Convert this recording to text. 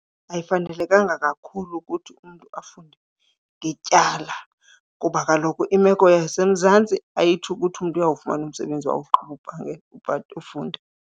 Ayifanelekanga kakhulu ukuthi umntu afunde ngetyala kuba kaloku imeko yaseMzantsi ayitsho ukuthi umntu uyawufumana umsebenzi awugqiba ufunda.